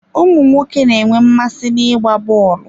Ụmụ nwoke na-enwe mmasị n'ịgba bọọlụ.